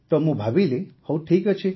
ତ ମୁଁ ଭାବିଲି ହଉ ଠିକ୍ ଅଛି